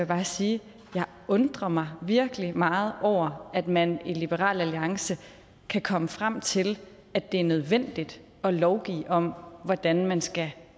bare sige jeg undrer mig virkelig meget over at man i liberal alliance kan komme frem til at det er nødvendigt at lovgive om hvordan man skal